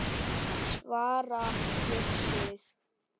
Svara fyrir sig.